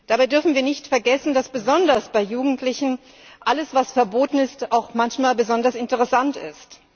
Dabei dürfen wir nicht vergessen, dass besonders bei Jugendlichen alles, was verboten ist, auch manchmal besonders interessant ist.